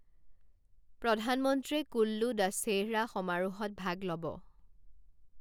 প্ৰধানমন্ত্ৰীয়ে কুল্লূ দশেহৰা সমাৰোহত ভাগ ল'ব